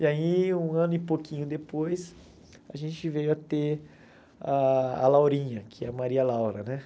E aí, um ano e pouquinho depois, a gente veio a ter ah a Laurinha, que é a Maria Laura, né?